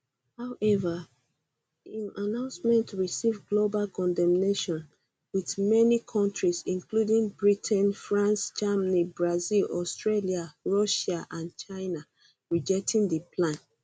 however im announcement receive global condemnation wit um um many kontris including britain france germany brazil australia um russia and china rejecting di plan